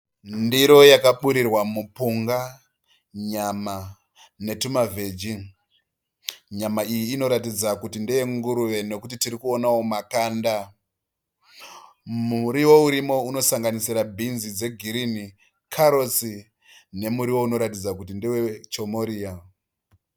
Ndiro yakaburirwa mupunga ,nyama, netuma veggy. Nyama iyi inoratidza kuti ndeye nguruve nekuti tiri kuonawo makanda. Muriwo urimo unosanganisira beans dze girini, carrots nemuriwo unoratidza kuti ndewe chomoriya.